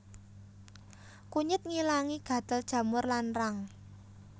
Kunyit ngilangi gatel jamur lan rang